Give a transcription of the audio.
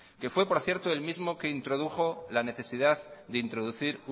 que fue por cierto el mismo que introdujo la necesidad de introducir